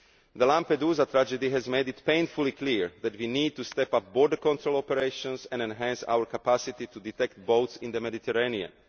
The Lampedusa tragedy has made it painfully clear that we need to step up border control operations and enhance our capacity to detect boats in the Mediterranean.